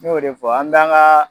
Ne y'o de fɔ an t"an ka